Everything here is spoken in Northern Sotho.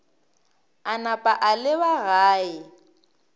a napa a leba gae